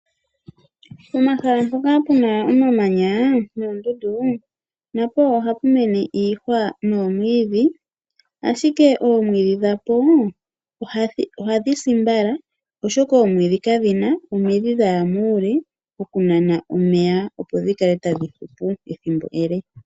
Pomahala mpoka pu na omamanya noondundu na po oha pu mene iihwa noomwiidhi, ashike omwiidhi dhapo ohadhi si mbala oshoka oomwiiidhi kadhi na omidhi dha ya muule oku nana omeya, opo dhi kale ta dhi hupu ethimbo ele.